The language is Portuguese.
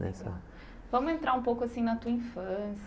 Nessa vamos entrar um pouco assim na tua